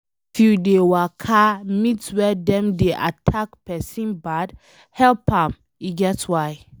If you dey waka meet where dem dey attack pesin bad, help am e get why